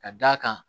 Ka d'a kan